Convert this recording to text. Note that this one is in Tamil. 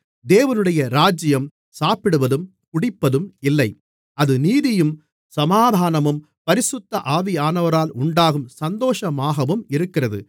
தேவனுடைய ராஜ்யம் சாப்பிடுவதும் குடிப்பதும் இல்லை அது நீதியும் சமாதானமும் பரிசுத்த ஆவியானவரால் உண்டாகும் சந்தோஷமாகவும் இருக்கிறது